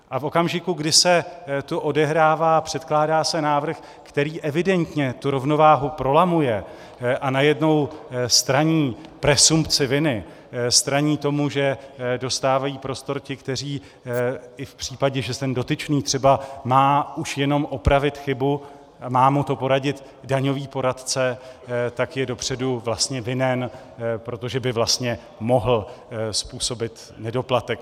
A v okamžiku, kdy se to odehrává, předkládá se návrh, který evidentně tu rovnováhu prolamuje a najednou straní presumpci viny, straní tomu, že dostávají prostor ti, kteří i v případě, že ten dotyčný třeba má už jenom opravit chybu, má mu to poradit daňový poradce, tak je dopředu vlastně vinen, protože by vlastně mohl způsobit nedoplatek.